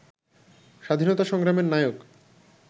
স্বাধীনতা সংগ্রামের নায়ক